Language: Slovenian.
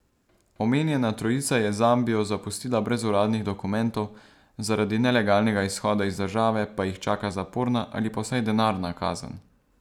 Omenjena trojica je Zambijo zapustila brez uradnih dokumentov, zaradi nelegalnega izhoda iz države pa jih čaka zaporna ali pa vsaj denarna kazen.